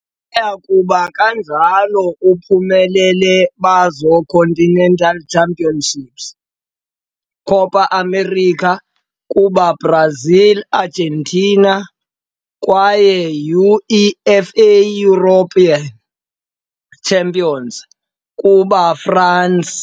Baya kuba kanjalo uphumelele bazo continental championship, Copa América kuba Brazil Argentina, kwaye UEFA European Championship kuba France.